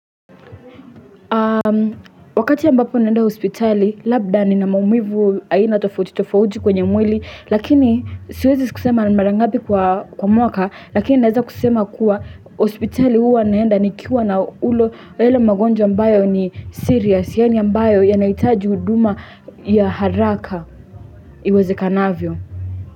Wakati ambapo naenda hospitali labda ni na maumivu aina tofauti tofauti kwenye mwili lakini siwezi kusema na mara ngapi kwa mwaka lakini naeza kusema kuwa hospitali huwa naenda nikiwa na ule la ele magonjwa ambayo ni serious yaani ambayo yanahitaji uduma ya haraka iweze kanavyo.